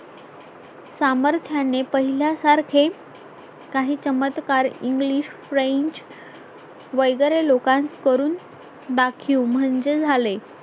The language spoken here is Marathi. सामर्थ्याने पहिल्यासारखे काही चमत्कार English French वगैरे लोकांस करून दाखिव म्हणजे झाले